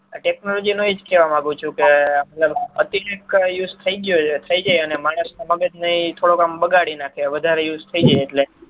technology નો એજ કેવા માગ્યું છું કે અતિ use થઇ ગયો છે અને થઇ જાય અને માણસ નુ મગજ ને થોડું આમ બગાડી નાંખે વધારે થઇ જાય એટલે